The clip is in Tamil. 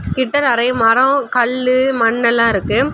கிட்ட நிறைய மரம் கல்லு மண்ணெல்லா இருக்கு.